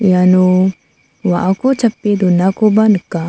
iano wa·ako chape donakoba nika.